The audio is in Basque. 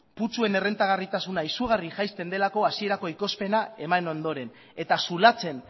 putzuen errentagarritasuna izugarri jaisten delako hasierako ekoizpena eman ondoren eta zulatzen